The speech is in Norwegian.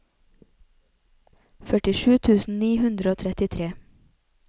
førtisju tusen ni hundre og trettitre